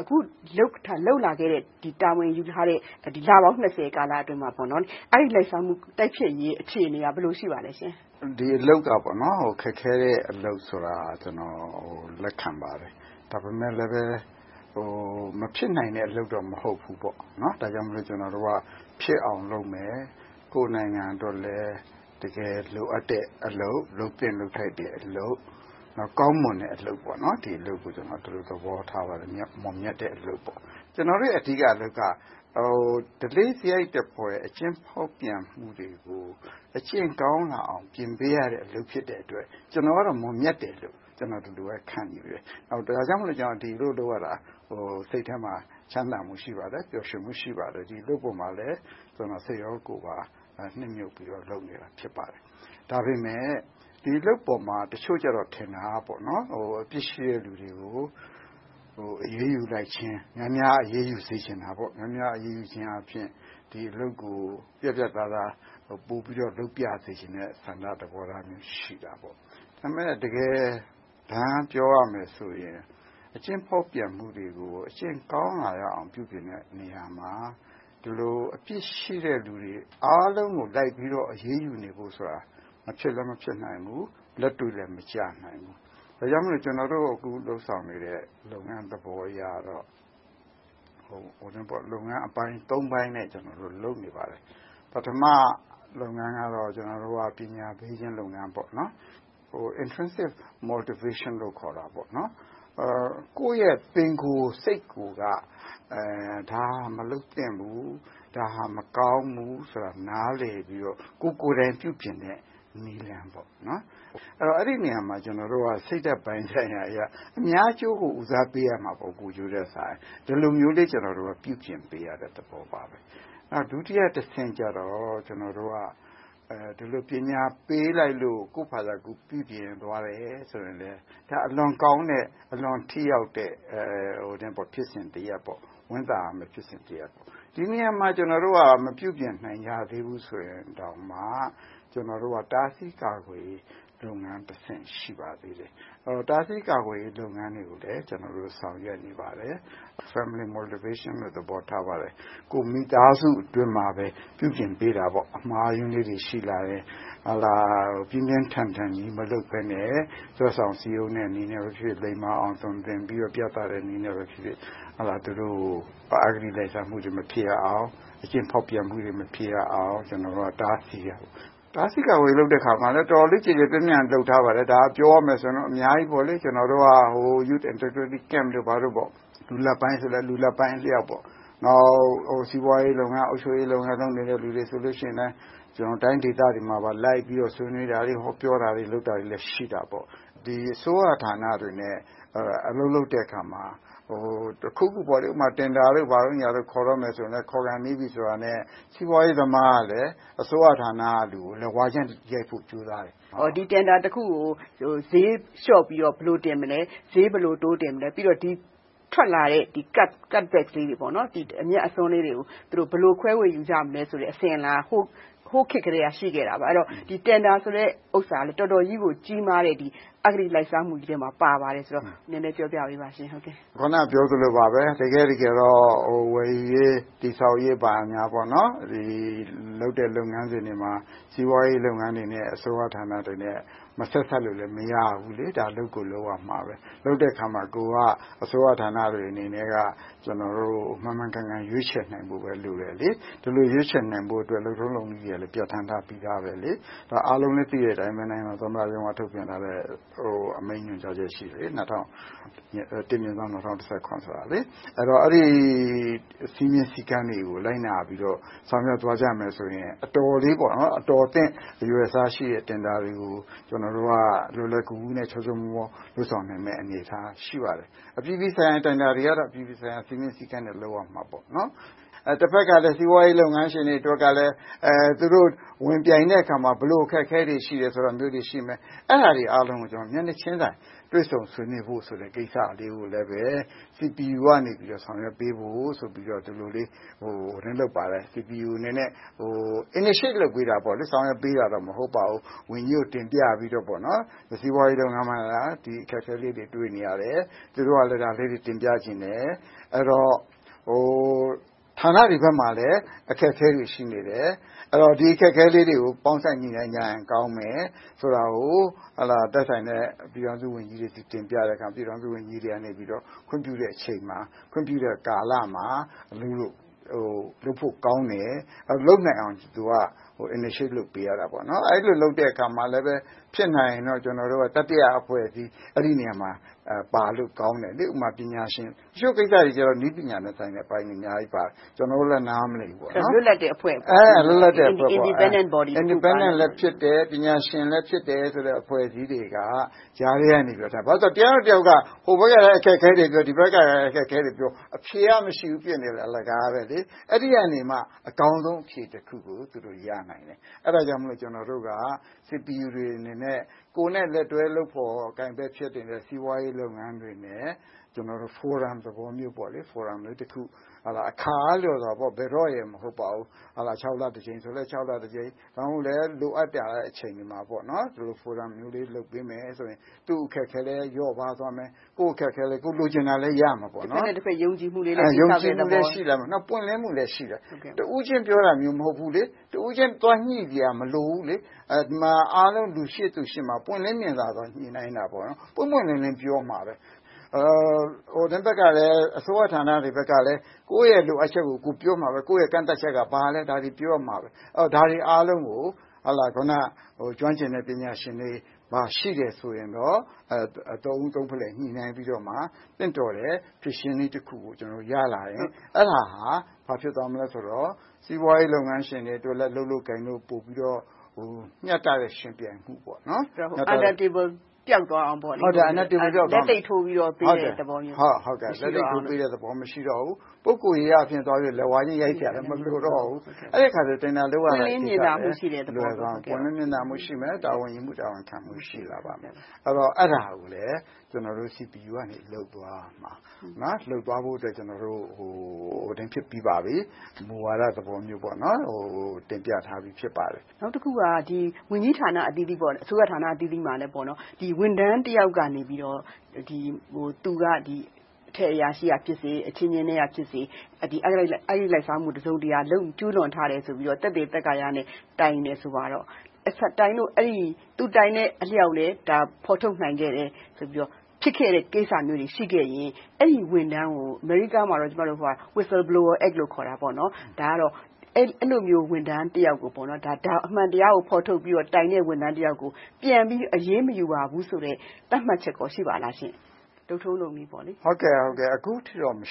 အခုလုပ်လာခဲ့တဲ့ တာဝန်ယူထားတဲ့ လပေါင်း ကာလအတွင်းမှာ အဂတိလိုက်စားမှု တိုက်ဖျက်ရေးအခြေအနေက ဘယ်လိုရှိပါသလဲ။ ဒီအလုပ်က ခက်ခဲတဲ့အလုပ်ဆိုတာကို လက်ခံပါတယ်။ ဒါပေမဲ့လဲ မဖြစ်နိုင်တဲ့ အလုပ်တော့ မဟုတ်ဘူးပေါ့။ ဒါကြောင့်မို့လဲ ကျနော်တို့က ဖြစ်အောင်လုပ်မယ်။ ကိုယ့်နိုင်ငံအတွက်လည်း တကယ်လိုအပ်တဲ့အလုပ်။ လုပ်သင့်လုပ်ထိုက်တဲ့အလုပ်။ ကောင်းမွန်တဲ့အလုပ်။ ဒီအလုပ်ကို ကျနော် ဒီလိုသဘောထားပါတယ်။ မွန်မြတ်တဲ့အလုပ်။ ကျနော်တို့ရဲ့ အဓိကအလုပ်က ဓလေ့စရိုက်လို့ခေါ်တဲ့ အကျင့်ဖောက်ပြန်မှုတွေကို အကျင့်ကောင်းလာအောင် ပြင်ပေးရတဲ့ အလုပ်ဖြစ်တဲ့အတွက် ကျနော်ကတော့ မွန်မြတ်တယ်လို့ ဒီလိုပဲ ခံယူပါတယ်။ ဒါကြောင့်မို့လဲ ဒီအလုပ်လုပ်ရတာကို စိတ်ထဲမှာ ချမ်းသာမှု ရှိပါတယ်။ ပျော်ရွှင်မှု ရှိပါတယ်။ ဒီအလုပ်ပေါ်မှာလဲ စိတ်ရောကိုယ်ပါ နစ်မြုပ်ပြီးတော့ လုပ်နေတာ ဖြစ်ပါတယ်။ ဒါပေမဲ့ ဒီအလုပ်ပေါ်မှာ တချို့ကြတော့ ထင်တာက အပြစ်ရှိတဲ့လူတွေကို အရေးယူလိုက်ခြင်း။ များများအရေးယူစေချင်တယ်။ များများအရေးယူခြင်းအားဖြင့် ဒီအလုပ်ကို ပြတ်ပြတ်သားသား၊ ပိုပြီးတော့ လုပ်ပြစေချင်တဲ့ ဆန္ဒသဘောထားလည်း ရှိပါတယ်။ ဒါပေမဲ့ တကယ်တမ်းပြောရမယ်ဆိုရင် အကျင့်ဖောက်ပြန်မှုတွေကို အကျင့်ကောင်းလာအောင် ပြုပြင်တဲ့နေရာမှာ ဒီလိုအပြစ်ရှိတဲ့လူတွေ အားလုံးကို လိုက်ပြီတော့ အရေးယူနေဖို့ဆိုတာ မဖြစ်လည်း မဖြစ်နိုင်ဘူး၊ လက်တွေ့လည်း မကျနိုင်ဘူး။ ဒါကြောင့်မို့ ကျနော်တို့ အခုလုပ်ဆောင်နေတဲ့ လုပ်ငန်းသဘောအရကတော့ လုပ်ငန်းအပိုင်း ပိုင်းနဲ့ လုပ်နေပါတယ်။ ပထမ လုပ်ငန်းကတော့ ပညာပေးခြင်း လုပ်ငန်း။ ကိုယ့်ရဲ့ပင်ကိုယ်စိတ်ကိုက ဒါကိုမလုပ်သင့်ဘူး။ ဒါဟာ မကောင်းဘူးဆိုတာကို နားလည်ပြီးတော့ ကိုယ့်ကိုယ်လည်း ပြုပြင်တဲ့နည်းလမ်း။ အဲဒီနေရာမှာ ကျနော်တို့က စိတ်ဓါတ်ပိုင်းဆိုင်ရာအရ အများအကျိုးကို ဦးစားပေးရမှာပေါ့။ ကိုယ်ကျိုးထက်စာရင်။ ဒီလိုမျိုးလေး ကျနော်တို့က ပြုပြင်ပေးရတဲ့သဘောပါ။ ဒုတိယတဆင့်ကြတော့ ဒီလိုပညာပေးလိုက်လို့ ကိုယ့်ဘာသာကိုယ် ပြုပြင်သွားတယ်ဆိုရင်လဲ အလွန်ကောင်းတဲ့ ထိရောက်တဲ့ ဖြစ်စဉ်တရပ်ပေါ့။ ဝမ်းသာရမယ့် ဖြစ်စဉ်တရပ်ပေါ့။ ဒီနေရာမှာ ကျနော်တို့က မပြုပြင်နိုင်ကြသေးဘူးဆိုရင်တောင်မှ တားဆီးကာကွယ်ရေးလုပ်ငန်းတဆင့် ရှိပါသေးတယ်။ တားဆီးကာကွယ်ရေး လုပ်ငန်းတွေကိုလည်း ကျနော်တို့ ဆောင်ရွက်နေပါတယ်။ Family Modiration - ကိုယ့်မိသားစုအတွင်းမှာပဲ ပြုပြင်ပေးတာ။ အမှားအယွင်းလေးတွေ ရှိလာယ်။ ပြင်းပြင်းထန်ထန်ကြီး မလုပ်ဘဲနဲ့ ဆွဲဆောင်စည်းရုံးနည်းနဲပဲဖြစ်ဖြစ် လိမ္မာအောင် သွန်သင်ပြီးတော့ ပြသတဲ့နည်းနဲ့ပဲဖြစ်ဖြစ် သူတို့ကို အဂတိလိုက်စားမှုတွေ မဖြစ်ရအောင်၊ အကျင့်ဖောက်ပြန်မှုတွေ မဖြစ်အောင်၊ ကျနော်တို့က တားဆီးရမယ်။ တားဆီးကာကွယ်ရေး လုပ်တဲ့အခါမှာလဲ တော်တော်လေး ကျယ်ကျယ်ပြန့်ပြန့် လုပ်ထားပါတယ်။ ဒါက ပြောမယ်ဆိုရင်တော့ အများကြီးပေါ့။ ကျနော်တို့က လူငယ်စခန်းတို့ ဘာတို့၊ လူလတ်ပိုင်းဆိုရင်လဲ လူလတ်ပိုင်းအလျောက်။ နောက် စီးပွားရေးလုပ်ငန်း၊ အုပ်ချုပ်ရေးလုပ်ငန်း လုပ်နေတဲ့လူတွေဆိုရင်လဲ တိုင်းဒေသတွေမှာပါလိုက်ြ့ပီးတော့ ဆွေးနွေးတာတွေ၊ ဟောပြောတာတွေ လုပ်တာတွေလည်း ရှိတာပေါ။ အစိုးရဌာနတွေနဲ့ အလုပ်လုပ်တဲ့အခါမှာ တင်ဒါတို့ ဘာတို့ ခေါ်တဲ့အခါမှာဆိုရင်လဲ ခေါ်ခါနီးပြီးဆိုရင် စီးပွားရေးသမားကလဲ အစိုးရဌာနကလူကို လက်ဝါးချင်းရိုက်ဖို့ ကြိုးစားတယ်။ ဒီတင်ဒါတခုကို ဈေးလျှော့ပြီးတော့ ဘယ်လိုတင်မလဲ။ ဈေးဘယ်လို တိုးတင်မလဲ။ ပြီးတော့ ထွက်လာတဲ့ အမြတ်အစွန်းလေးတွေကို သူတို့ ဘယ်လိုခွဲဝေကြမလဲဆိုတဲ့ အစဉ်အလာက ဟိုခေတ်ကတည်းက ရှိခဲ့တာပါ။ အဲဒီတော့ ဒီတင်ဒါဆိုတဲ့ဟာက တော်တော်ကြီးကို ကြီးမားတဲ့ အဂတိလိုက်စားမှုထဲမှာ ပါတယ်။ နည်းနည်းပြောပြပေးပါ။ အခုန ပြောသလိုပါပဲ တကယ့်တကယ်တော့ ဝယ်ယူရေး၊ တည်ဆောက်ရေးမှာ လုပ်တဲ့လုပ်ငန်းစဉ်တွေမှာ စီးပွားရေးလုပ်ငန်းတွေနဲ့ အစိုးရဌာနတွေနဲ့ မဆက်စပ်လို့လဲ မရဘူးလေး။ ဒါကို လုပ်ကိုလုပ်ရမှာပဲ။ လုပ်တဲ့အခါမှာ အစိုးရဌာနတွေအနေနဲ့ မှန်မှန်ကန်ကန် ရွေးချယ်နိုင်ဖို့ပဲ လိုတယ်။ ဒီလိုလုပ်နိုင်ဖို့လဲ လုပ်ထုံးလုပ်နည်းတွေကလည်း ပြဌာန်းထားပြီသာပါ။ အားလုံးလဲ သိတဲ့အတိုင်းပဲ နိုင်ငံတော်သမ္မတရုံးက ပြဌာန်းထားတဲ့ အမိန့်ညွှန်ကြားချက်ရှိတယ်။ ၁/၂၀၁၇ ဖြစ်ပါတယ်။ အဲဒီစည်းမျဉ်းစည်းကမ်းတွေကို လိုက်နာပြီးတော့ ဆောက်ရွက်သွားကြမယ်ဆိုရင် အတော်လေး အတော်အသင့်ရှိတဲ့ တင်ဒါတွေကို ကျနော်တို့က လွယ်လွယ်ကူကူ၊ ချောချောမောမော လုပ်ဆောင်နိုင်မယ့် အနေအထားရှိပါတယ်။ အပြည်ပြည်ဆိုင်ရာ တင်ဒါတွေကိုတော့ အပြည်ပြည်ဆိုင်ရာ စည်းမျဉ်းစည်းကမ်းနဲ့ လုပ်ရမှာပေါ့။ တဘက်ကလဲ စီးပွားရေးလုပ်ငန်းရှင်တွေအတွက်ကလဲ သူတို့ဝင်ပြိုင်တဲ့အခါမှာ ဘယ်လိုအခက်အခဲတွေ ရှိတယ်ဆိုတာတွေကို မျက်နှာချင်းဆိုင် တွေ့ဆုံဆွေးနွေးဖို့ကိစ္စကို CPU ကနေ ဆောင်ရွက်ပေးဖို့ဆိုပြီး ဒီလိုလေး လုပ်ပါတယ် - CPU အနေနဲ့ initiate လုပ်ပေးတာပေါ့ - ဆောင်ရွက်ပေးတာတော့ မဟုတ်ပါဘူး။ ဝန်ကြီးကို တင်ပြပြီးတော့ စီးပွားေးရးလုပ်ငန်းပိုင်းမှာ ဒီလိုအခက်အခဲလေးတွေ တွေ့နေရတယ်။ သူတို့က ဒါလေးတွေ တင်ပြချင်တယ်။ ပြီးတော့ ဌာနတွေဘက်မှာလဲ အခက်အခဲတွေ ရှိနေတယ်။ ဒီအခက်အခဲတွေကို ပေါင်းစပ်ညှိနှိုင်းကြရင် ကောင်းမယ်ဆိုတာကို သက်ဆိုင်တဲ့ ပြည်ထောင်စုဝန်ကြီးတွေကို တင်ပြတဲ့အခါမှာ ပြည်ထောင်စုဝန်ကြီးတွေက ခွင့်ပြုတဲ့အချိန်မှာ ခွင့်ပြုတဲ့ကာလမှာ လုပ်ဖို့ကောင်းတယ်၊ လုပ်နိုင်အောင် initiate လုပ်ပေးရတယ်။ အဲဒီလို လုပ်တဲ့အခါမှာလည်း ဖြစ်နိုင်ရင် ကျနော်တို့က တတိယအဖွဲ့အစည်း အဲဒီနေရာမှာ ပါလို့ကောင်းတယ်။ ဥပမာ ပညာရှင်ပိုင်း - အချို့ကိစ္စတွေမှာ နည်းပညာနဲ့ဆိုင်တဲ့ အပိုင်းတွေ အများကြီးပါတယ်။ ကျနော်တို့လည်း နားမလည်ဘူး။ လွတ်လပ်တဲ့အဖွဲ့ Independence Body လွတ်လပ်တဲ့အဖွဲ့လည်းဖြစ်တယ်။ ပညာရှင်ပိုင်လည်းဖြစ်တဲ့ အဖွဲ့အစည်းတွေက ကြားထဲကနေ လုပ်ပေးတာ။ ဘာဖြစ်လို့လဲဆိုတော့ တယောက်နဲ့တယောက်က ဟိုဘက်ကလဲ အခက်အခဲတွေပြော၊ ဒီဘက်ကလဲ အခက်အခဲတွေပြော အဖြေကမရှိဘူး ဖြစ်နေတယ်။ အလကားပဲ။ အဲဒီကနေ အကောင်းဆုံး အဖြေတခုကို ရနိုင်တယ်။ အဲဒါကြောင့်မို့ ကျနော်တို့က CPU အနေနဲ့ ကိုယ်နဲ့လက်တွဲလုပ်ဖော်ကိုင်ဖက်ဖြစ်တဲ့ စီးပွားရေးလုပ်ငန်းတွေအနေနဲ့ ဖိုရမ်သဘောမျိုး အခါအားလျော်စွာ ဘယ်တော့ရယ်လို့တော့ မဟုတ်ပါဘူး။ ခြောက်လတကြိမ်ဆိုလဲ ခြောက်လတကြိမ်၊ ဒါမှမဟုတ် လိုအပ်တဲ့အချိန်တွေမှာ လိုအပ်သလို ဖိုရမ်လေး လုပ်ပေးမယ်ဆိုရင် သူ့အခက်အခဲလဲ လျော့ပါးသွားမယ်။ ကိုယ်လိုချင်တာလဲ ရမယ်။ တဘက်နဲ့တဘက် ယုံကြည်မှုလေး ရလာမယ်ပေါ့။ ယုံကြည်မှုလည်း ရလာမယ်။ ပွင့်လင်းမှုလည်း ရှိလာမယ်။ တဦးချင်းပြောတာမျိုး မဟုတ်ဘူး။ တဦးချင်းသွားညှိစရာ မလိုဘူး။ အားလုံးရှေ့မှာ ပွင့်လင်းမြင်သာစွာ ညှိနှိုင်းတာ။ ပွင့်ပွင့်လင်းလင်း ပြောမှာပါ။ အစိုးရဌာနတွေဘက်ကလဲ ကိုယ့်ရဲ့လိုအပ်ချက်တွေကို ပြောမှာပဲ - ကိုယ့်ရဲ့ ကန့်သတ်ချက်က ဘာတွေလဲဆိုတာကို ပြောရမယ်။ ဒါတွေအားလုံးကို ကျွမ်းကျင်တဲ့ ပညာရှင်တွေရှိမယ်ဆိုရင်တော့ သုံးဦးသုံးဖလှယ် ညှိနှိုင်းပြီးတော့ သင့်လျော်တဲ့ ဖြေရှင်းနည်းတခုကို ရလာရင် အဲဒါဟာ ဘာဖြစ်သွားမလဲဆိုရင် စီးပွားရေးလုပ်ငန်းရှင်တွေအတွက်လဲ လုပ်လို့ကိုင်လို့ မျှတတဲ့ ယှဉ်ပြိုင်မှု ဖြစ်လာမယ်။ Under table လုပ်ဆောင်မှုတွေ ပျောက်သွားအောင်လို့ပေါ့။ လက်သပ်ထိုးပေးတဲ့သဘောမျိုး မရှိတော့အောင်လို့ပေါ့။ ဟုတ်ပါတယ်။ လက်သပ်ထိုး ပေးတာမျိုး မရှိတော့ဘူး။ ပုဂ္ဂိုလ်ရေးအားဖြင့် သွားပြီးတော့ လက်ဝါးချင်းရိုက်ဖို့လဲ မလိုတော့ဘူး။ အဲဒီအခါကြတော့ တင်ဒါလုပ်တဲ့အခါမှာ ပွင့်လင်းမြင်သာမှုရှိမယ်။ တာဝန်ယူမှု၊ တာဝန်ခံမှု ရှိလာပါမယ်။ အဲဒါကိုလဲ ကျနော်တို့က လုပ်ဖို့၊ လုပ်သွားဖို့အတွက် ကျနော်တို့ မူဝါဒသဘောမျိုး တင်ပြထားပြီး ဖြစ်ပါတယ်။ နောက်တခုက ဝန်ကြီးဌာန၊ အစိုးရဌာနအသီးသီးမှာလဲ ဝန်ထမ်းတယောက်ကနေ သူက အထက်အရာရှိကဖြစ်စေ၊ အချင်းချင်းထဲကဖြစ်စေ၊ အဂတိလိုက်စားမှု တစုံတရာ ကျူးလွန်ထားတယ်လို့ သက်သေသက်ကာနဲ့ တိုင်တယ်ဆိုပါတော့ သူတိုင်းတဲ့အလျောက်လဲ ဖော်ထုတ်နိုင်ခဲ့တယ်ဆိုတဲ့ ဖြစ်ခဲ့တဲ့ကိစ္စတွေ ရှိခဲ့ရင် အဲဒီဝန်ထမ်းကို အမေရိကမှာတော့ Whistleblower Act လို့ ခေါ်တာပေါ့။ ဒါကတော့ အဲဒီလိုဝန်ထမ်းတယောက်ကို အမှန်တရားအတွက် ဖော်ထုတ်ပြီးတော့ တိုင်တဲ့ဝန်ထမ်းကို ပြန်ပြီးအရေးမယူရဘူးဆိုတဲ့ သတ်မှတ်ချက်ကော ရှိပါသလားရှင့်။ အခုထိတော့ မ